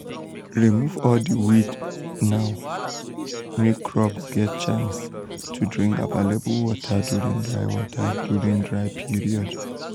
remove all di weeds now make crops get chance to drink available water during dry water during dry period.